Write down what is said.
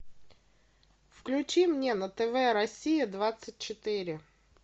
включи мне на тв россия двадцать четыре